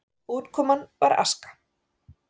Útkoman var aska.